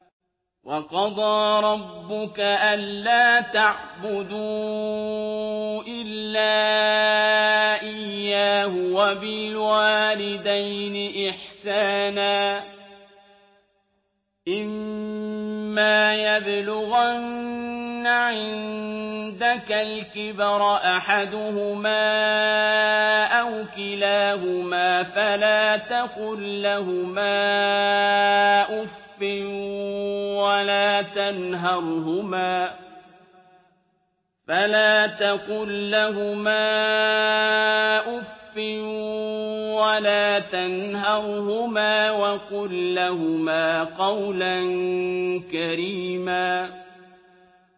۞ وَقَضَىٰ رَبُّكَ أَلَّا تَعْبُدُوا إِلَّا إِيَّاهُ وَبِالْوَالِدَيْنِ إِحْسَانًا ۚ إِمَّا يَبْلُغَنَّ عِندَكَ الْكِبَرَ أَحَدُهُمَا أَوْ كِلَاهُمَا فَلَا تَقُل لَّهُمَا أُفٍّ وَلَا تَنْهَرْهُمَا وَقُل لَّهُمَا قَوْلًا كَرِيمًا